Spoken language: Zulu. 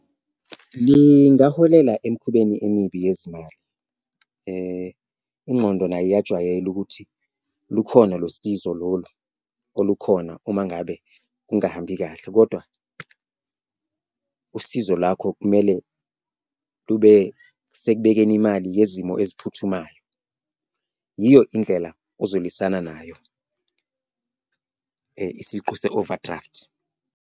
Lingaholela emikhubeni emibi yezimali, ingqondo nayo iyajwayela ukuthi lukhona lo sizo lolu olukhona uma ngabe kungahambi kahle kodwa usizo lwakho kumele lube sekubekeni imali yezimo eziphuthumayo. Iyo indlela ozolwisana nayo isiqu se-overdraft.